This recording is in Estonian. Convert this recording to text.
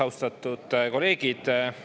Austatud kolleegid!